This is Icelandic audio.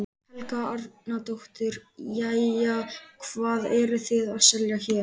Helga Arnardóttir: Jæja, hvað eruð þið að selja hér?